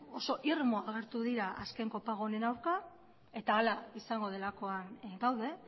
oso irmo agertu dira azken kopago honen aurka eta hala izango delakoan gaude